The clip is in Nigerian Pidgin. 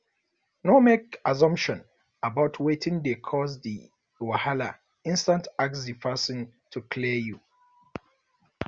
no make assumption about wetin dey cause di wahala instead ask di person to clear you